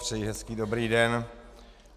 Přeji hezký dobrý den.